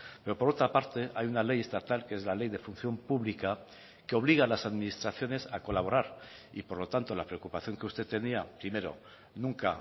pero por otra parte hay una ley estatal que es la ley de función pública que obliga a las administraciones a colaborar y por lo tanto la preocupación que usted tenía primero nunca